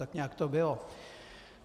Tak nějak to bylo.